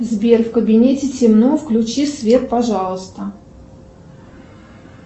сбер в кабинете темно включи свет пожалуйста